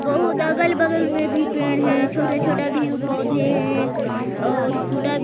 बहोत अगल बगल में भी पेड़ हैं छोटा छोटे भी पौधे हैं। और --